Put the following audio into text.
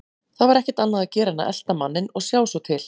Það var ekkert annað að gera en að elta manninn og sjá svo til.